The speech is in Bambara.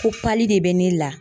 Ko pali de bɛ ne la.